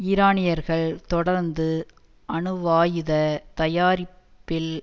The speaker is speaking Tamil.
ஈரானியர்கள் தொடர்ந்து அணுவாயுத தயாரிப்பில்